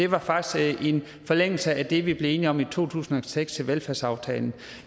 var faktisk en forlængelse af det vi blev enige om i to tusind og seks i velfærdsaftalen